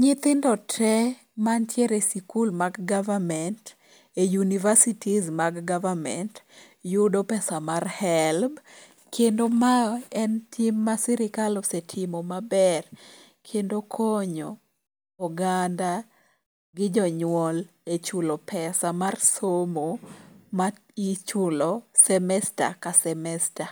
Nyithindo tee mantiere e sikul mag government e universities mag government yuido pesa mar helb kendo ma en tim ma sirikal osetimo maber kendo okonyo oganda gi jonyuol e chulo pesa mar somo ma ichulo semester ka semester.